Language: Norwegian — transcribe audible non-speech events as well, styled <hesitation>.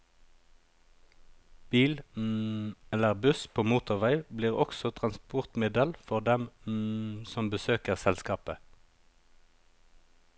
Bil <hesitation> eller buss på motorvei blir også transportmiddel for dem <hesitation> som besøker selskapet.